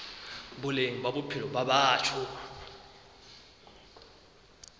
boleng ba bophelo ba batho